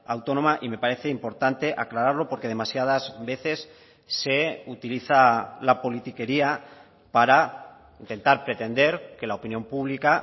autónoma y me parece importante aclararlo porque demasiadas veces se utiliza la polítiquería para intentar pretender que la opinión pública